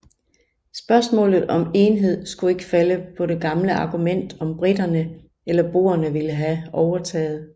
Spørgsmålet om enhed skulle ikke falde på det gamle argument om briterne eller boerne ville have overtaget